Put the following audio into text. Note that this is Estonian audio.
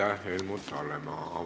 Aitäh, Helmut Hallemaa!